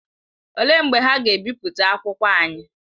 Olee mgbe ha ga-ebipụta akwụkwọ anyị?